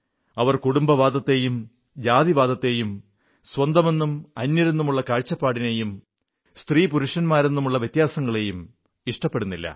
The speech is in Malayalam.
അവർ കുടുംബവാദത്തെയും ജാതിവാദത്തെയും സ്വന്തമെന്നും അന്യരെന്നുമുള്ള കാഴ്ചപ്പാടിനെയും സ്ത്രീപുരുഷ വ്യത്യാസങ്ങളെയും ഇഷ്ടപ്പെടുന്നില്ല